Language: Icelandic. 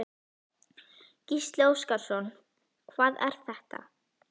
Gísli Óskarsson: Hvað er þetta?